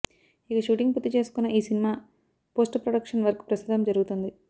ఇక షూటింగ్ పూర్తి చేసుకున్న ఈ సినిమా పోస్ట్ ప్రొడక్షన్ వర్క్ ప్రస్తుతం జరుగుతుంది